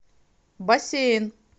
бассейн